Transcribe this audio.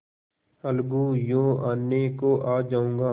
अलगूयों आने को आ जाऊँगा